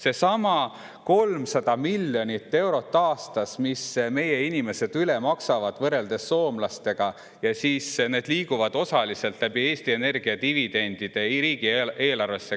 Seesama 300 miljonit eurot aastas, mis meie inimesed rohkem maksavad võrreldes soomlastega, ja siis need summad liiguvad osaliselt läbi Eesti Energia dividendide riigieelarvesse.